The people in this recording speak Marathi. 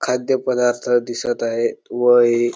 खाद्य पदार्थ दिसत आहे. व हे--